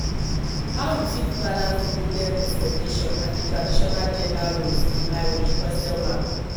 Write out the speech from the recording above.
how you fit balance di modern expectations and di traditional gender roles in marriage question mark